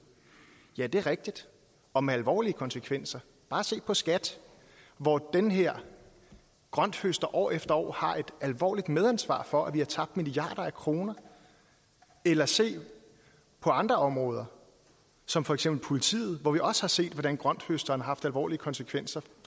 ja det er rigtigt og med alvorlige konsekvenser bare se på skat hvor den her grønthøster år efter år har et alvorligt medansvar for at vi har tabt milliarder af kroner eller se på andre områder som for eksempel politiet hvor vi også har set hvordan grønthøsteren har haft alvorlige konsekvenser